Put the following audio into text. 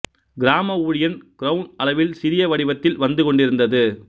கிராம ஊழியன் கிரவுன் அளவில் சிறிய வடிவத்தில் வந்து கொண்டிருந்தது